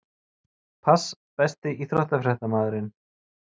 Pass Besti íþróttafréttamaðurinn?